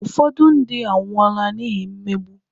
Ụfọdụ ndị anwụọla n’ihi mmegbu.